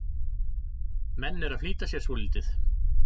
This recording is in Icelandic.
Menn eru að flýta sér svolítið.